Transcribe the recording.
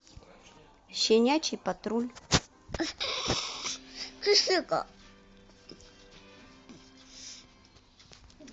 щенячий патруль